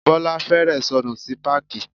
Bọ́lá fẹ́rẹ̀ẹ́ sọnù sí páàkì.